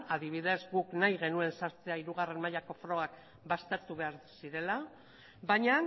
adibidez guk nahi genuen sartzea hirugarren mailako frogak baztertu behar zirela baina